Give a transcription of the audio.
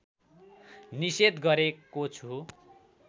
निषेध गरेको छु